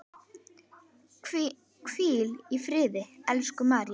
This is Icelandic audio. Hvíl í friði, elsku María.